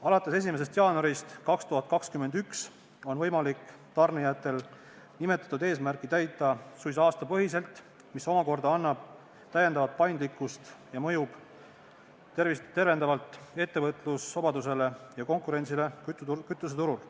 Alates 1. jaanuarist 2021 on võimalik tarnijatel nimetatud eesmärke täita suisa aastapõhiselt, mis omakorda annab täiendavat paindlikkust ja mõjub tervendavalt ettevõtlusvabadusele ja konkurentsile kütuseturul.